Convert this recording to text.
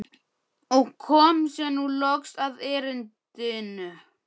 Og kom sér nú loks að erindinu.